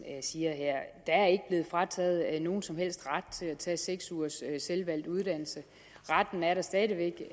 siger her er der er ikke blevet frataget nogen som helst ret til at tage seks ugers selvvalgt uddannelse retten er der stadig væk